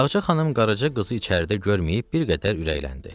Ağca xanım Qaraca qızı içəridə görməyib bir qədər ürəkləndi.